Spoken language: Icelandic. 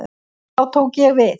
Þá tók ég við.